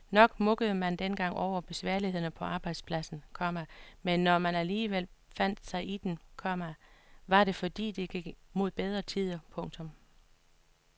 Nok mukkede man dengang over besværlighederne på arbejdspladsen, komma men når man alligevel fandt sig i dem, komma var det fordi det gik mod bedre tider. punktum